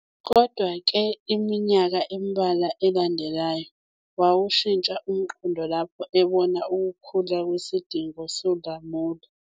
Kodwa-ke, iminyaka embalwa eyalandela, wawushintsha umqondo lapho ebona ukukhula kwesidingo solamula.